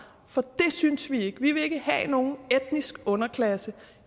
for det synes vi ikke om vi vil ikke have nogen etnisk underklasse